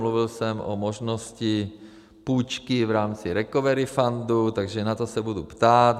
Mluvil jsem o možnosti půjčky v rámci recovery fundu, takže na to se budu ptát.